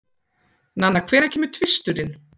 Nanna, hvenær kemur tvisturinn?